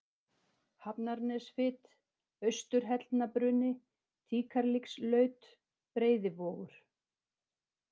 Hafnarnesfit, Austur-Hellnabruni, Tíkarlíkslaut, Breiðivogur